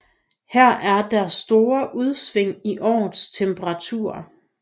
Her er der store udsving i årets temperaturer